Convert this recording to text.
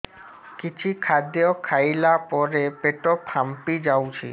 କିଛି ଖାଦ୍ୟ ଖାଇଲା ପରେ ପେଟ ଫାମ୍ପି ଯାଉଛି